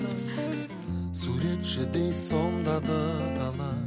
суретшідей сомдады дала